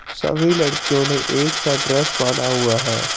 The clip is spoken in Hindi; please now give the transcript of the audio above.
सभी लड़कियों ने एकसा ड्रेस पहना हुआ है।